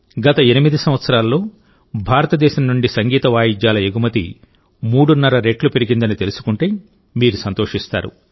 గత 8 సంవత్సరాల్లో భారతదేశం నుండి సంగీత వాయిద్యాల ఎగుమతి మూడున్నర రెట్లు పెరిగిందని తెలుసుకుంటే మీరు సంతోషిస్తారు